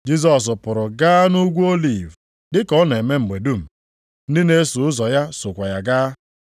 Jisọs pụrụ gaa nʼUgwu Oliv dị ka ọ na-eme mgbe dum, ndị na-eso ụzọ ya sokwa ya gaa.